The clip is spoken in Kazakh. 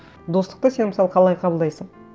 достықты сен мысалы қалай қабылдайсың